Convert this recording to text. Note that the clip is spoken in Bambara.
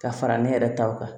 Ka fara ne yɛrɛ taw kan